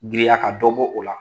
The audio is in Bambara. Giriya ka dɔ bɔ o la